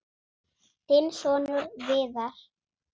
Þinn sonur, Viðar.